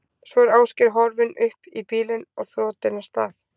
Svo er Ásgeir horfinn upp í bílinn og þotinn af stað.